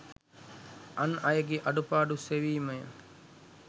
අන් අයගේ අඩුපාඩු සෙවීමය.